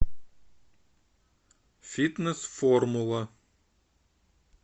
фитнес формула